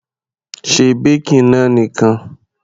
Se baking náà nìkan.